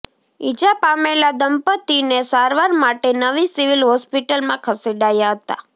ઈજા પામેલા દંપતીને સારવાર માટે નવી સિવિલ હોસ્પિટલમાં ખસેડાયા હતા